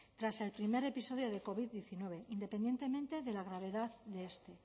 tras el primer episodio de covid diecinueve independientemente de la gravedad de este